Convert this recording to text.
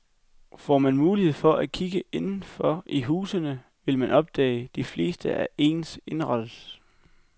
Får man mulighed for at kigge inden for i husene, vil man opdage, de fleste er ens indrettet.